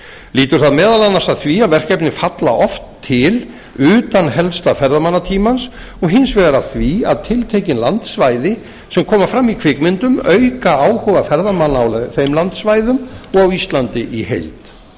lýtur það meðal annars að því að verkefni falla oft til utan helsta ferðamannatímans og hins vegar að því að tiltekin landsvæði sem koma fram í kvikmyndum auka áhuga ferðamanna á þeim landsvæðum og á íslandi í heild